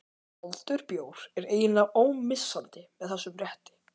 Kaldur bjór er eiginlega ómissandi með þessum rétti.